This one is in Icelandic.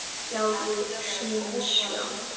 Já, sisona!